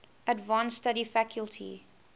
advanced study faculty